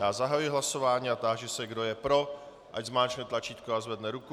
Já zahajuji hlasování a táži se, kdo je pro, ať zmáčkne tlačítko a zvedne ruku.